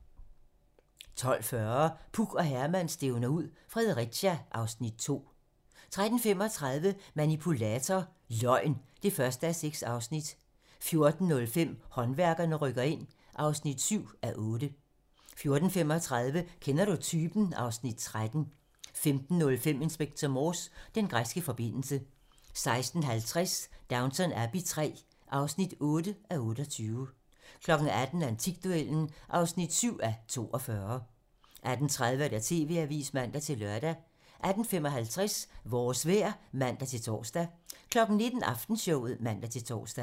12:40: Puk og Herman stævner ud - Fredericia (Afs. 2) 13:35: Manipulator - Løgn (1:6) 14:05: Håndværkerne rykker ind (7:8) 14:35: Kender du typen? (Afs. 13) 15:05: Inspector Morse: Den græske forbindelse 16:50: Downton Abbey III (8:28) 18:00: Antikduellen (7:42) 18:30: TV-Avisen (man-lør) 18:55: Vores vejr (man-tor) 19:00: Aftenshowet (man-tor)